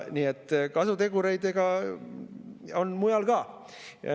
Nii et kasutegureid on mujal ka.